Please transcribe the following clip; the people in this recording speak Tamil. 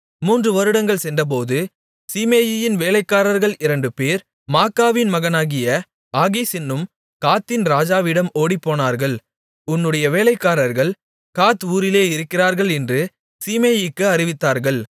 மூன்று வருடங்கள்சென்றபோது சீமேயியின் வேலைக்காரர்கள் இரண்டுபேர் மாக்காவின் மகனாகிய ஆகீஸ் என்னும் காத்தின் ராஜாவிடம் ஓடிப்போனார்கள் உன்னுடைய வேலைக்காரர்கள் காத் ஊரில் இருக்கிறார்கள் என்று சீமேயிக்கு அறிவித்தார்கள்